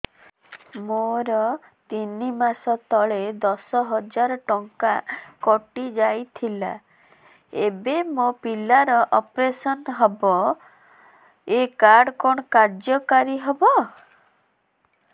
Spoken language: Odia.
ମୋର ତିନି ମାସ ତଳେ ଦଶ ହଜାର ଟଙ୍କା କଟି ଯାଇଥିଲା ଏବେ ମୋ ପିଲା ର ଅପେରସନ ହବ ଏ କାର୍ଡ କଣ କାର୍ଯ୍ୟ କାରି ହବ